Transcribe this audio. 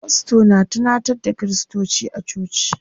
Fasto na tunantar da kiristoci a coci.